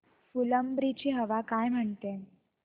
फुलंब्री ची हवा काय म्हणते